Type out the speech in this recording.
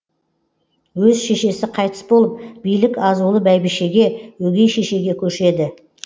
өз шешесі қайтыс болып билік азулы бәйбішеге өгей шешеге көшеді